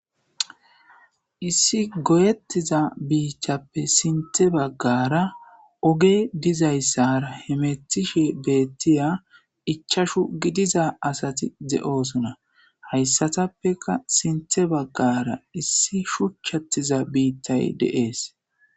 issi goyettiza biichchappe sinte baggara oge dizayssara hemethishe beettiya ichashu gidiza asati ze'oosuna hayssatappeka sinthe baggara issi shuchchattiza biittay dees.